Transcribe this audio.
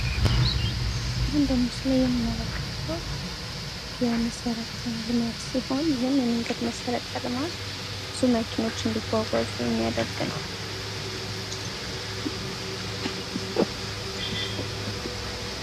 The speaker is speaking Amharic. የህ በምስሉ የምንመለከተው የመሠረተ ልማት ሲሆን ይህም የመንገድ መሠረተ ልማት ብዙ መኪናዎች እንድጓጓዙ የሚያደርግ ነው።